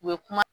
U ye kuma